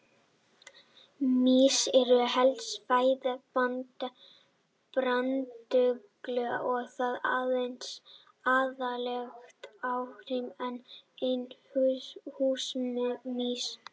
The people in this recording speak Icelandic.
Mýs eru helsta fæða brandugla og þá aðallega hagamýs en einnig húsamýs.